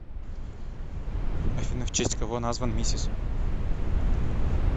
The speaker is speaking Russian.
афина в честь кого назван мисис